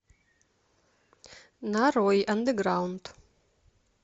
нарой андеграунд